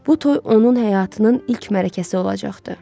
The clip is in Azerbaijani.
Bu toy onun həyatının ilk mərasimi olacaqdı.